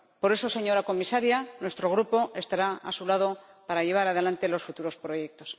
Por eso, señora Comisaria, nuestro Grupo estará a su lado para llevar adelante los futuros proyectos.